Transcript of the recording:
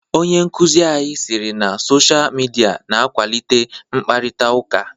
Onye nkụzi anyi sịrị na Sochaa midia n'akwalite mkparịta ụka.